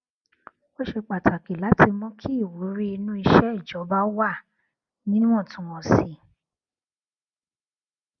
ó ṣe pàtàkì láti mú kí ìwúrí inú iṣẹ ìjọba wà níwọntúnwọnsì